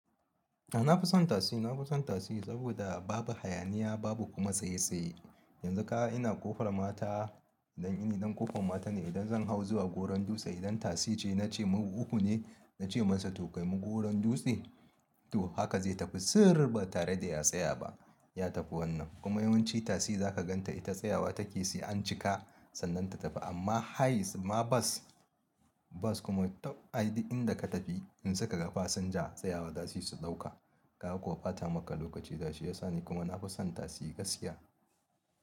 A na fi son tasi, na fi son tasi saboda babu hayaniya babu kuma tsaye-tsaye. Yanzu kaga ina ƙofar mata idan ƙofar mata ne idan zan hau zuwa goron dutse idan tasi ce na ce mu uku ne, na ce masa to kai mu goron dutse to haka zai tafi sirrr ba tare da ya tsaya ba ya tafi wannan. Kuma yawanci tasi za ka gan ta ita tsayawa take sai an cika sannan ta tafi amma hayis ma bas, bas kuma tau ai inda ka tafi in suka ga fasinja tsayawa zasuyi su ɗauka kaga kuwa ɓata maka lokaci zasuyi shiyasa ni kuma na fi son tasi gaskiya.